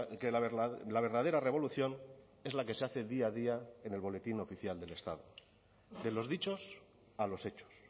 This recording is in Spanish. que la verdadera revolución es la que se hace día a día en el boletín oficial del estado de los dichos a los hechos